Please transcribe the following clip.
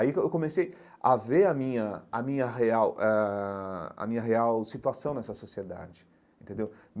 Aí que eu comecei a ver a minha a minha real ãh a minha real situação nessa sociedade, entendeu?